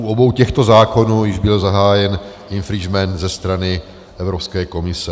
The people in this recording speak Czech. U obou těchto zákonů již byl zahájen infringement ze strany Evropské komise.